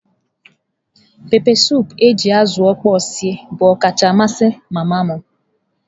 Pepesụpụ nke eji azụ okpor sie bụ ọkacha amasị mama m.